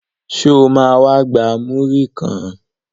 Sọ ma wá gba múrí kan?